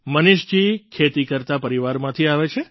મનીષજી ખેતી કરતા પરિવારમાંથી આવે છે